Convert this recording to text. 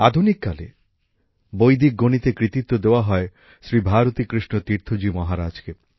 আধুনিক কালে বৈদিক গণিতের কৃতিত্ব দেওয়া হয় শ্রী ভারতী কৃষ্ণ তীর্থজী মহারাজকে